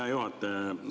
Hea juhataja!